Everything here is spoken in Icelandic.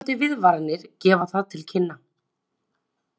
Eftirfarandi viðvaranir gefa það til kynna